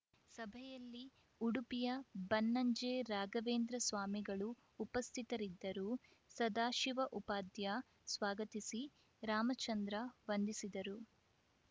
ಸಭೆಯಲ್ಲಿ ಉಡುಪಿಯ ಬನ್ನಂಜೆ ರಾಘವೇಂದ್ರ ಸ್ವಾಮಿಗಳು ಉಪಸ್ಥಿತರಿದ್ದರು ಸದಾಶಿವ ಉಪಾಧ್ಯ ಸ್ವಾಗತಿಸಿ ರಾಮಚಂದ್ರ ವಂದಿಸಿದರು